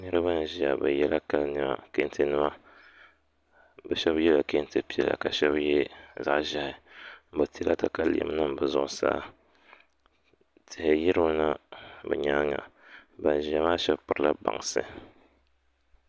Niraba n ʒiya bi yɛla kali niɛma kɛntɛ nima bi shab yɛla kɛntɛ piɛla ka bi shab yɛ zaɣ ʒiɛhi bi tila katalɛm nim bi zuɣusaa tihi yirimina bi nyaanga ban ʒiya maa shab pirila bansi